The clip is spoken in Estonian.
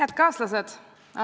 Head kaaslased!